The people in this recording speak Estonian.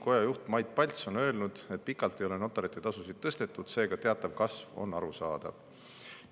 Koja juht Mait Palts on öelnud, et notarite tasusid ei ole pikalt tõstetud, seega teatav kasv on arusaadav.